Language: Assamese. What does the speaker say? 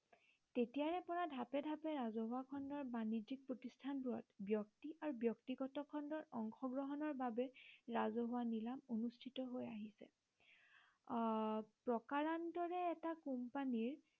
তেতিয়াৰে পৰা ঢাপে ঢাপে ৰাজহুৱা খণ্ডৰ বাণিজ্য়িক প্ৰতিষ্ঠানবোৰত ব্য়ক্তি আৰু ব্য়ক্তিগত খণ্ডৰ অংশগ্ৰহণৰ বাবে ৰাজহুৱা নীলাম অনুষ্ঠিত হৈ আহিছে। আহ প্ৰকাৰান্তৰে এটা কোম্পানীৰ